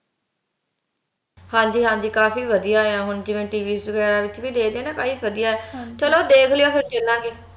ਹਾਂਜੀ ਹਾਂਜੀ ਕਾਫੀ ਵਧੀਆ ਆ ਹੁਣ ਜਿਵੇ TV ਵਗੈਰਾ ਵਿਚ ਵੀ ਦੇਖਦੇ ਆ ਨਾ ਬਾਲੀ ਵਧੀਆ ਚਲੋ ਦੇਖਲਿਓ ਫੇਰ ਚਲਾਗੇ